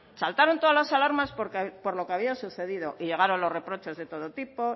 saltaron todas las alarmas por lo que había sucedido y llegaron los reproches de todo tipo